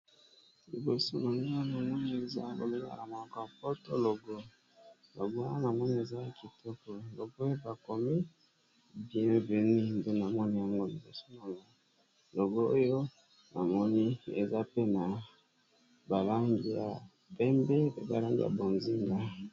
Liboso na nga na moni eza babengaka na munoko ya poto, logo logo wana na moni ezala kitoko, logo bakomi bien venue nde na moni yango liboso na logo oyo, namoni eza pe na balangi ya pembe na balangi ya bonzinga.